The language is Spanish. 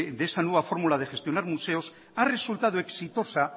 de esa nueva fórmula de gestionar museos ha resultado exitosa